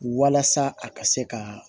Walasa a ka se ka